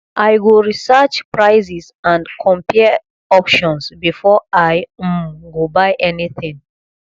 i go research prices and compare options before i um go buy anything